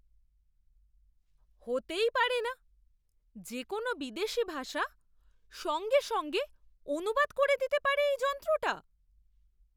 হতেই পারে না! যে কোনও বিদেশী ভাষা সঙ্গে সঙ্গে অনুবাদ করে দিতে পারে এই যন্ত্রটা?